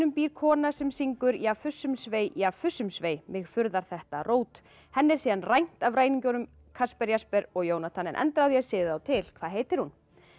býr kona sem syngur ja fussum svei ja fussum svei mig furðar þetta rót henni er síðan rænt af ræningjunum Kasper Jesper og Jónatan en endaði á því að siða þá til hvað heitir hún